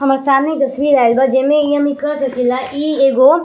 हमर सामने एक तस्वीर आइल बा। जेमे इ निकल सकीला की इ एगो --